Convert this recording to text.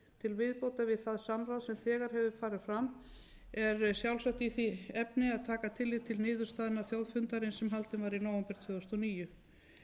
við það samráð sem þegar hefur farið fram er sjálfsagt í því efni að taka tillit til niðurstaðna þjóðfundarins sem haldinn var í nóvember tvö þúsund og níu